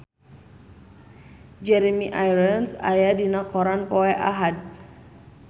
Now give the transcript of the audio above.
Jeremy Irons aya dina koran poe Ahad